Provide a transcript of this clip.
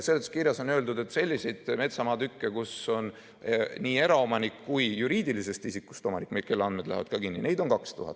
Seletuskirjas on öeldud, et selliseid metsamaatükke, kus on nii eraomanik kui ka juriidilisest isikust omanik, kelle andmed lähevad kinni, on 2000.